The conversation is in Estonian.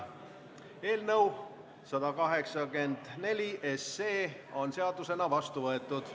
Eelnõu 184 on seadusena vastu võetud.